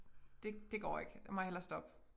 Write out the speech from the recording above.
Det det går ikke jeg må hellere stoppe